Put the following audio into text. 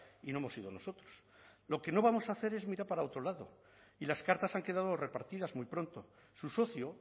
y no hemos sido nosotros lo que no vamos a hacer es mirar para otro lado y las cartas han quedado repartidas muy pronto su socio